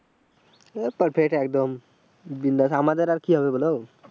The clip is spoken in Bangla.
হম perfect একদম বিন্দাস আমাদের আর কি হবে বলো?